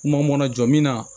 Kuma mɔnna jɔ min na